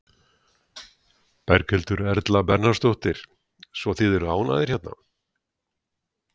Berghildur Erla Bernharðsdóttur: Svo þið eru ánægðir hérna?